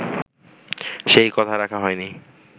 সেই কথা রাখা হয়নি